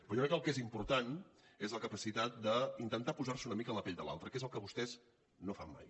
però jo crec que el que és important és la capacitat d’intentar posar se una mica a la pell de l’altre que és el que vostès no fan mai